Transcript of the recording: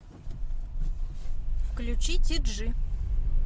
включи ти джи